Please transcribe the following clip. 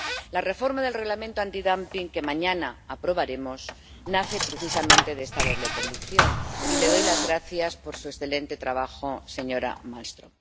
La reforma del Reglamento antidumping que mañana aprobaremos nace precisamente de esta doble convicción y le doy las gracias por su excelente trabajo, señora Malmström.